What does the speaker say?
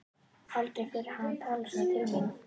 Aldrei fyrr hafði hann talað svona til mín.